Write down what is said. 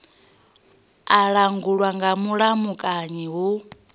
a langulwa nga mulamukanyi hu